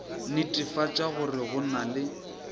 netefatša gore go na le